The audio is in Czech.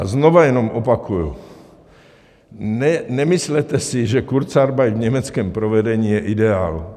A znova jenom opakuji - nemyslete si, že kurzarbeit v německém provedení je ideál.